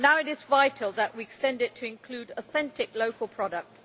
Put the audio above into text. Now it is vital that we extend it to include authentic local products.